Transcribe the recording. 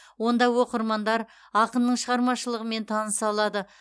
онда оқырмандар ақынның шығармашылығымен таныса алады